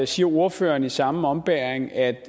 siger ordføreren i samme ombæring at